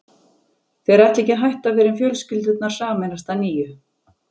Þeir ætla ekki að hætta fyrr en fjölskyldurnar sameinast að nýju.